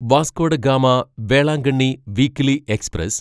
Vasco da Gama Velankanni weekly express